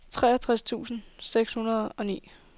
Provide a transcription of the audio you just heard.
treogtres tusind seks hundrede og ti